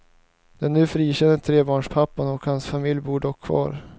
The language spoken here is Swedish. Den nu frikände trebarnspappan och hans familj bor dock kvar.